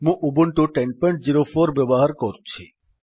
ମୁଁ ଉବୁଣ୍ଟୁ 1004 ବ୍ୟବହାର କରୁଛି